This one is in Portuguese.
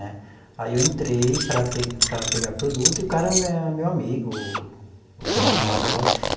Né aí eu entrei para pe para pegar produto e o cara é meu amigo, o dono lá da loja.